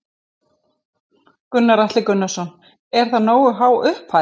Gunnar Atli Gunnarsson: Er það nógu há upphæð?